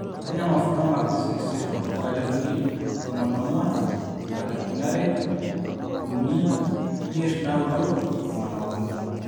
kenya mavuno (Mac 64) 1400 2000 3-5 9-13